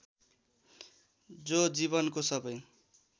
जो जीवनको सबै